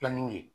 Filanin ye